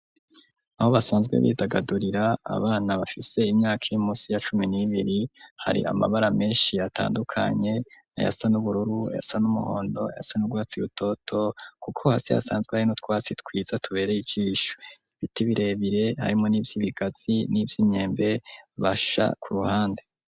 Aho basanzwe bidagadurira abana bafise imyaka irimunsi ya cumi n'ibiri, hari amabara menshi atandukanye ayasa n'ubururu, ayasa N'umuhondo, ayasa n'ugwatsi butoto, kuko hasi hasanzwe harino twasi twiza tubereye ijisho ibiti birebire harimo n'ivyo ibigazi n'ivyo imyembe basha ku ruhande.